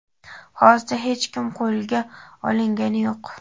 hozircha hech kim qo‘lga olingani yo‘q.